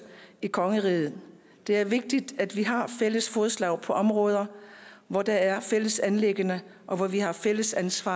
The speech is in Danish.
i kongeriget det er vigtigt at vi har fælles fodslag på områder hvor der er fælles anliggender og hvor vi har fælles ansvar